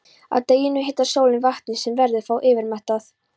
Að deginum hitar sólin vatnið sem verður þá yfirmettað.